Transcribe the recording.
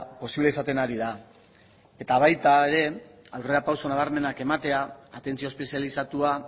posible izaten ari da eta baita ere aurrerapauso nabarmenak ematea atentzio espezializatua